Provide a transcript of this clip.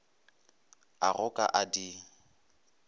a go ka a di